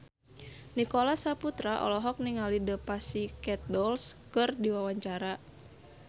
Nicholas Saputra olohok ningali The Pussycat Dolls keur diwawancara